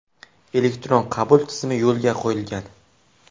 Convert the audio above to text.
Elektron qabul tizimi yo‘lga qo‘yilgan.